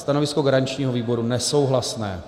Stanovisko garančního výboru nesouhlasné.